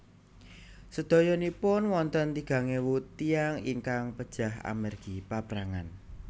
Sedoyonipun wonten tigang ewu tiyang ingkang pejah amargi paprangan